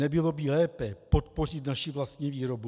Nebylo by lépe podpořit naši vlastní výrobu?